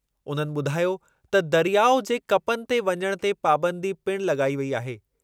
उन्हनि ॿुधायो त दरियाउ जे कपनि ते वञण ते पाबंदी पिण लॻाई वेई आहे।